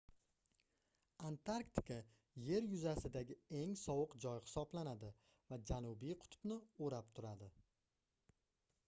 antarktika yer yuzasidagi eng sovuq joy hisoblanadi va janubiy qutbni oʻrab turadi